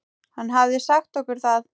Hann hafði sagt okkur það.